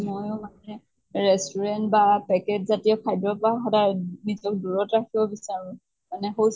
ময়ো মানে restaurant বা packet জাতিয় খাদ্য়ৰ পৰা সদায় নিজক দূৰত্ৰাখিব বিচাৰোঁ। মানে